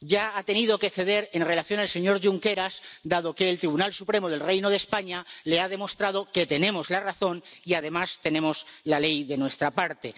Ya ha tenido que ceder en relación con el señor Junqueras, dado que el Tribunal Supremo del Reino de España le ha demostrado que tenemos la razón, y además tenemos la ley de nuestra parte.